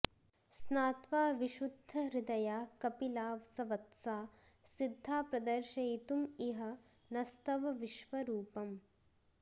स्नात्वा विशुद्धहृदया कपिला सवत्सा सिद्धा प्रदर्शयितुमिह नस्तव विश्वरूपम्